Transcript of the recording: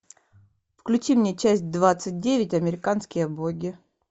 включи мне часть двадцать девять американские боги